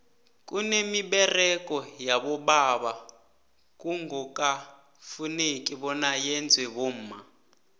kwanemiberego yabobaba kungoka fuzeki bona yenzwe bomma